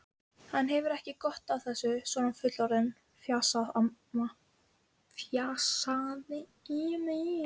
Emerald, hvað er í dagatalinu mínu í dag?